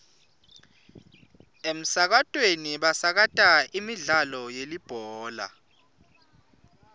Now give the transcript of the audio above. emsakatweni basakata imidlalo yelibhola